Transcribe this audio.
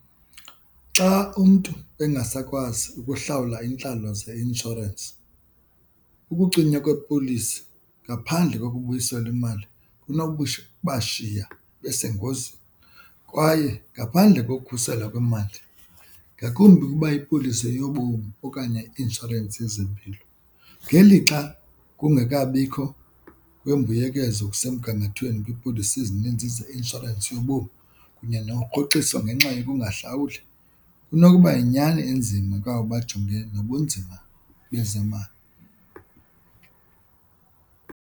Xa umntu engasakwazi ukuhlawula iintlalo zeinshorensi, ukucinywa kwepolisi ngaphandle kokubuyiselwa imali bashiya besengozini kwaye ngaphandle kokukhusela kwemali. Ngakumbi ukuba ipolisi yobomi okanye i-inshorensi yezempilo, ngelixa kungekabikho wembuyekezo kusemgangathweni kwipolisi ezininzi zeinshorensi enintsi yobomi kunye nokurhoxiswa ngenxa yoba ungahlawuli kunokuba yinyani enzima kwaba bajongene nobunzima bezemali.